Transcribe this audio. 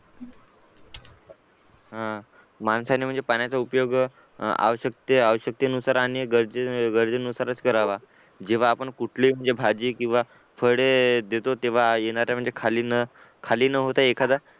हा माणसाने म्हणजे पाण्याचा उपयोग आवश्यकते आवश्यकते नुसार आणि गरजे गरजेनुसारच करावा जेव्हा आपण कुठली म्हणजे भाजी किंवा फळे देतो तेव्हा येणारा म्हणजे खाली न खाली न होता एखादा